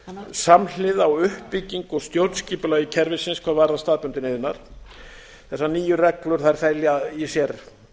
samhliða á uppbyggingu og stjórnskipulagi kerfisins hvað varðar staðbundinn iðnað þessar nýju reglur fela í sér